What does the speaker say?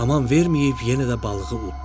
Aman verməyib yenə də balığı uddurdu.